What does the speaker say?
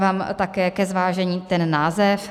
Dávám také ke zvážení ten název.